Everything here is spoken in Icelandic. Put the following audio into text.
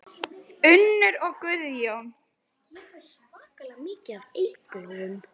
Unnur og Guðjón.